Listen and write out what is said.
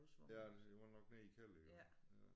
Ja det var nok nede i kælder iggå ja